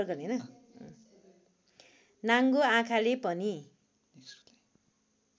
नाङ्गो आँखाले पनि